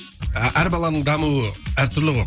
әр баланың дамуы әртүрлі ғой